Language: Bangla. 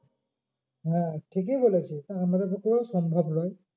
হ্যাঁ ঠিকই বলেছিস। আমাদের পক্ষেও সম্ভব নয়।